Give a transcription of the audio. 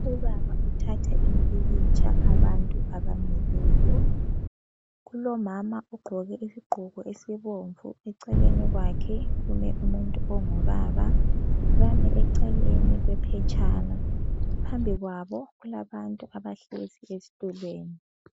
Ubaba uthatha impikitsha abantu abamileyo. Kulomama ogqoke isigqoko esibomvu. Eceleni kwakhe kume umuntu ongubaba. Bami eceleni kwephetshana. Phambi kwabo kulabantu abahlezi ezitulweni.